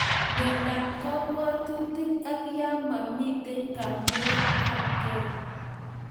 Miondap kapwatutik ak ya mamitei kamuget ap kei